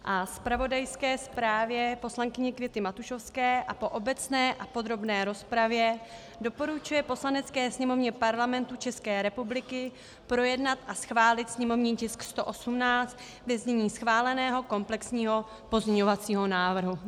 - a zpravodajské zprávě poslankyně Květy Matušovské, a po obecné a podrobné rozpravě doporučuje Poslanecké sněmovně Parlamentu České republiky projednat a schválit sněmovní tisk 118 ve znění schváleného komplexního pozměňovacího návrhu.